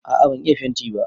A'a ban iya fenti ba